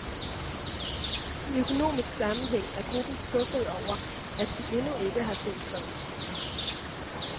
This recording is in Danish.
I økonomisk sammenhæng er gruppen skuffede over, at de endnu ikke har set fredens frugter.